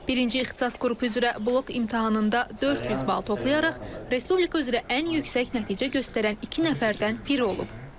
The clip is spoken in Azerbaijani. Birinci ixtisas qrupu üzrə blok imtahanında 400 bal toplayaraq respublika üzrə ən yüksək nəticə göstərən iki nəfərdən biri olub.